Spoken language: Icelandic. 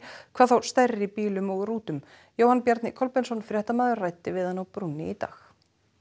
hvað þá stærri bílum og rútum Jóhann Bjarni Kolbeinsson fréttamaður ræddi við hann á brúnni í dag